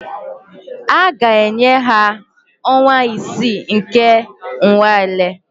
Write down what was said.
A ga-enye ha ọnwa isii nke nnwale